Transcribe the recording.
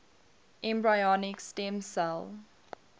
embryonic stem cell